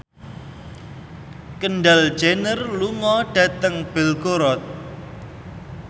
Kendall Jenner lunga dhateng Belgorod